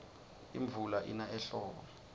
imvula ina ehlobo